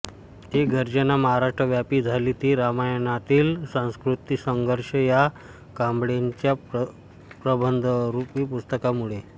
ती गर्जना महाराष्ट्रव्यापी झाली ती रामायणातील संस्कृतीसंघर्ष या कांबळेंच्या प्रबंधरूपी पुस्तकामुळे